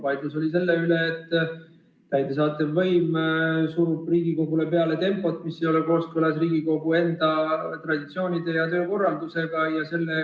Vaidlus oli selle üle, et täidesaatev võim surub Riigikogule peale tempot, mis ei ole kooskõlas Riigikogu traditsioonide ja töökorraldusega.